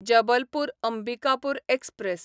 Jabalpur Ambikapur express